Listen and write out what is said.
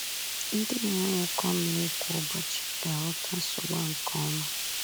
Ndị na-enwe ụkọ mmiri kwa ụbọchị ga-aghọta nsogbu a nke ọma.